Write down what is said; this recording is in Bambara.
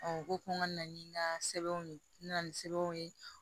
u ko ko n ka na ni n ka sɛbɛnw ye n na na ni sɛbɛnw ye